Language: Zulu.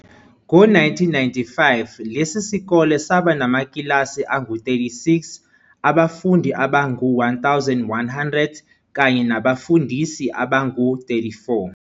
Ngo-1995 lesi sikole saba namakilasi angu-36, abafundi abangu-1100 kanye nabafundisi abangu-34.